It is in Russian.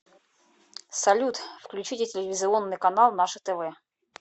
салют включите телевизионный канал наше тв